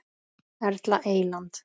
Erla Eyland.